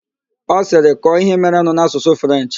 Ọ sịrị, kọọ ihe merenụ n'Asụsụ Frenchị!